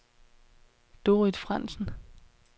Dorrit Frandsen